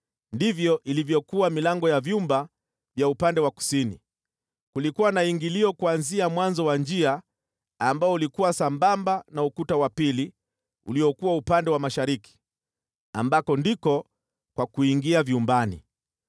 ndivyo ilivyokuwa milango ya vyumba vya upande wa kusini. Kulikuwa na ingilio kuanzia mwanzo wa njia ambao ulikuwa sambamba na ukuta wa pili uliokuwa upande wa mashariki, ambako ndiko kwa kuingia vyumbani.